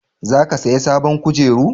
za ka saya sabon kujeru?